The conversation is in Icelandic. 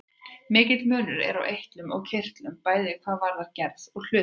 Mikill munur er á eitlum og kirtlum, bæði hvað varðar gerð og hlutverk.